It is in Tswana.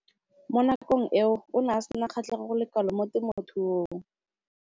Mo nakong eo o ne a sena kgatlhego go le kalo mo temothuong.